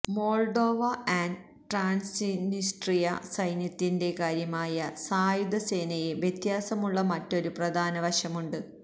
Moldova and Transnistria സൈന്യത്തിന്റെ കാര്യമായ സായുധസേനയെ വ്യത്യാസമുള്ള മറ്റൊരു പ്രധാന വശമുണ്ട്